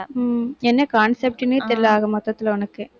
உம் என்ன concept ன்னே தெரியலே ஆக மொத்தத்துல உனக்கு.